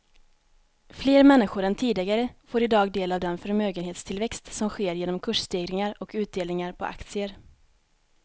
Fler människor än tidigare får i dag del av den förmögenhetstillväxt som sker genom kursstegringar och utdelningar på aktier.